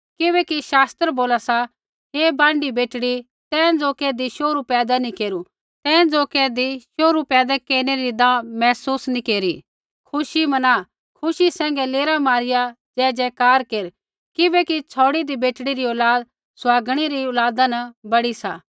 किबैकि शास्त्र बोला सा हे बांढी बेटड़ी तैं ज़ो कैधी शोहरू पैदा नैंई केरू तैं ज़ो कैधी शोहरु पैदा केरनै री दाह महसूस नैंई केरी खुशी मना खुशी सैंघै लेरा मारिया जयजयकार केर किबैकि छ़ौड़िदी बेटड़ी री औलाद सुहागणै री औलाद न बड़ी सा